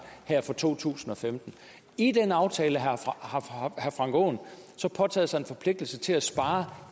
her for to tusind og femten i den aftale har herre frank aaen så påtaget sig en forpligtelse til at spare